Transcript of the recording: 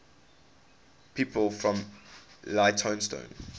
people from leytonstone